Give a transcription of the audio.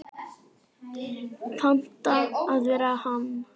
Panta að vera hann.